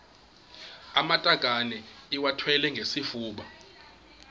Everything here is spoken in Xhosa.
amatakane iwathwale ngesifuba